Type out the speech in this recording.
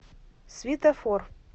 светофор